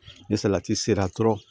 Ni salati sera dɔrɔn